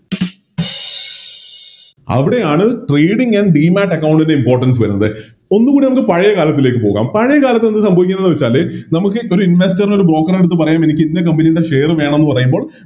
അവിടെയാണ് Trading and demat account ൻറെ Importance വരുന്നത് ഒന്നുകൂടെ നമുക്ക് പഴയ കാലത്തിലേക്ക് പോകാം പഴയകാലത്ത് എന്താ സംഭവിക്കുന്നെന്ന് വെച്ചാല് നമുക്ക് ഒര് Investor എടുത്ത് Broker എടുത്ത് പറയാം എനിക്കിന്ന Company യുടെ Share വേണമെന്ന് പറയുമ്പോൾ